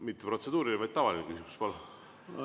Mitte protseduuriline, vaid tavaline küsimus, palun!